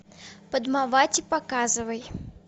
падмавати показывай